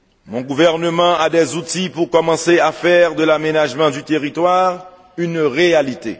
Mon gouvernement a des outils pour commencer à faire de l'aménagement du territoire une réalité.